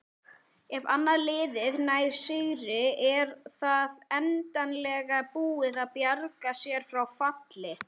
Ef annað liðið nær sigri er það endanlega búið að bjarga sér frá falli.